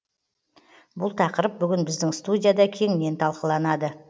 бұл тақырып бүгін біздің студияда кеңінен талқыланады